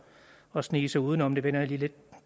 at snige sig udenom men det vender jeg